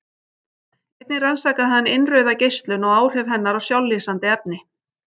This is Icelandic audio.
Einnig rannsakaði hann innrauða geislun og áhrif hennar á sjálflýsandi efni.